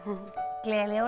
gleðileg jól